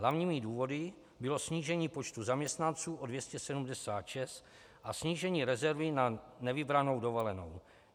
Hlavními důvody bylo snížení počtu zaměstnanců o 276 a snížení rezervy na nevybranou dovolenou.